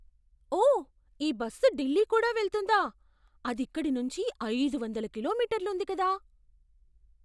ఓ! ఈ బస్సు ఢిల్లీ కూడా వెళ్తుందా? అదిక్కడి నుంచీ ఐదొందల కిలోమీటర్లు ఉంది కదా?